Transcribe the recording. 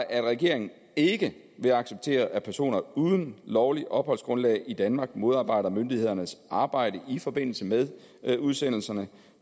at regeringen ikke vil acceptere at personer uden lovligt opholdsgrundlag i danmark modarbejder myndighedernes arbejde i forbindelse med udsendelserne